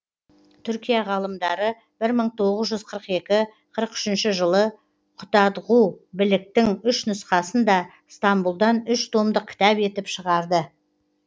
түркия ғалымдары бір мың тоғыз жүз қырық екі қырық үшінші жылы құтадғу білігтің үш нұсқасын да стамбұлдан үш томдық кітап етіп шығарды